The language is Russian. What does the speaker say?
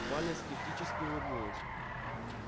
валя скептически улыбнулась